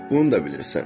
Bunu da bilirsən.